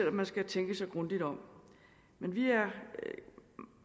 om man skal tænke sig grundigt om men vi